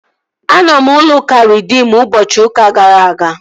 Anọ m n'ụlọ ụka Reedim ụbọchị ụka gara aga